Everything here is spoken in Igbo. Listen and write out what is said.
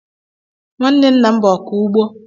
Nwa nne nna m bu ọkụ ugbo